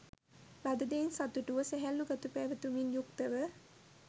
ලද දෙයින් සතුටුව, සැහැල්ලු ගති පැවැතුමින් යුක්තව